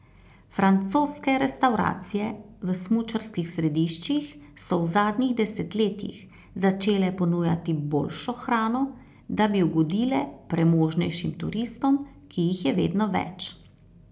Francoske restavracije v smučarskih središčih so v zadnjih desetletjih začele ponujati boljšo hrano, da bi ugodile premožnejšim turistom, ki jih je vedno več.